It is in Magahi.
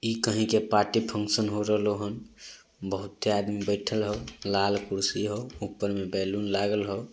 इ कही के पार्टी फंगक्शन होय रहले होन । बहुते आदमी बैठल होय लाल कुर्सी होय ऊपर में बेलून लगल होय।